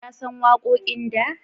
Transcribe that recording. Ya san waƙoƙin da?